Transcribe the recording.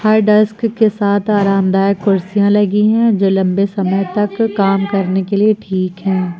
हर desk के साथ आरामदायक कुर्सियां लगी है जो लंबे समय तक काम करने के लिए ठीक है।